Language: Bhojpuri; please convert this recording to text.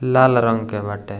लाल रंग के बाटे --